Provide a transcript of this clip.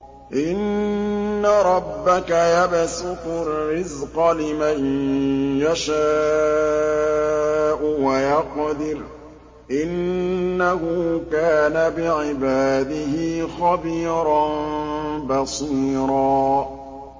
إِنَّ رَبَّكَ يَبْسُطُ الرِّزْقَ لِمَن يَشَاءُ وَيَقْدِرُ ۚ إِنَّهُ كَانَ بِعِبَادِهِ خَبِيرًا بَصِيرًا